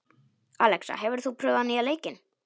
Alexa, hefur þú prófað nýja leikinn?